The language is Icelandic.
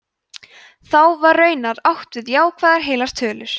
þá var raunar átt við jákvæðar heilar tölur